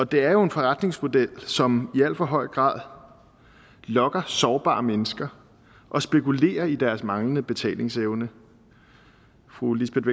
det er jo en forretningsmodel som i alt for høj grad lokker sårbare mennesker og spekulerer i deres manglende betalingsevne fru lisbeth